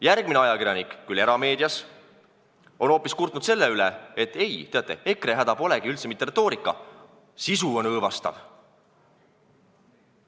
Järgmine ajakirjanik, küll erameedias, kurtis hoopis selle üle, et ei, teate, EKRE häda polegi üldse mitte retoorika, sisu on õõvastav.